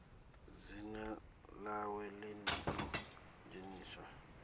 dzina ḽawe ḽi ḓo dzheniswa